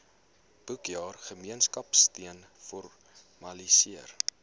boekjaar gemeenskapsteun formaliseer